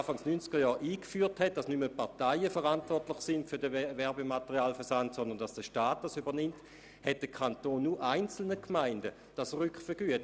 Als man Anfang der 1990er-Jahre festlegte, dass nicht mehr die Parteien für den Werbematerialversand verantwortlich sind, sondern dass der Staat dies übernimmt, hat der Kanton diese Kosten nur einzelnen Gemeinden rückvergütet.